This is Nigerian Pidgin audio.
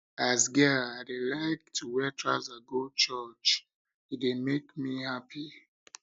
as girl i dey like to wear trouser go church e dey church e dey make me happy